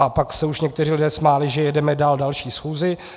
A pak se už někteří lidé smáli, že jedeme dál další schůzi.